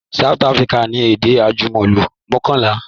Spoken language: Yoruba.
South Africa ni èdè àjùmọ̀lò mọ́kànlá